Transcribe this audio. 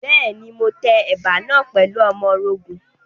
Bẹ́ẹ̀ni, mo tẹ ẹ̀bà náà pẹ̀lú ọmọrogùn.